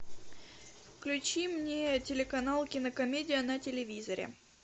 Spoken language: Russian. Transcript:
включи мне телеканал кинокомедия на телевизоре